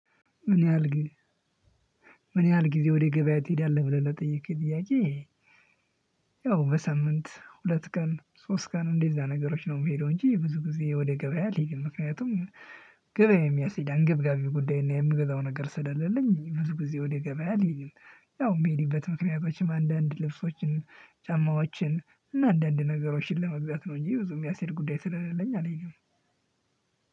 ምን ያህል ምን ያህል ጊዜ ወደ ገበያ ትሄዳለህ ብለህ ለጠየከኝ ጥያቄ? ያው በሳምንት ሁለት ቀን ሶስት ቀን እንደዛ ነገሮች ነው የምሄደው እንጂ ብዙ ጊዜ ወደ ገበያ አልሄድም ምክንያቱም ገበያ የሚያስኬድ አንገብጋቢ ጉዳይና የምገዛው ነገር ስለሌለኝ ብዙ ጊዜ ወደ ገበያ አልሄድም። ያው የምሄድበት ምክንያቶችም አንዳንድ ልብሶችን ጫማዎችን እና አንዳንድ ነገሮችን ለመግዛት ነው። እንጂ ብዙ የሚያስኬድ ጉዳይ ስለሌለኝ አልሄድም።